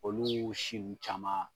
Oluu si n caman